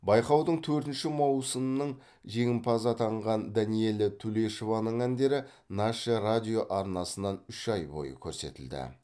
байқаудың төртінші маусының жеңімпазы атанған данэлия тулешованың әндері наше радио арнасынан үш ай бойы көрсетілді